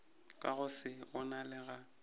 ka go se bonale ga